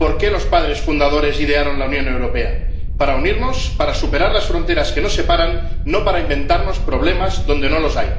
por qué los padres fundadores idearon la Unión Europea para unirnos, para superar las fronteras que nos separan, no para inventarnos problemas donde no los hay.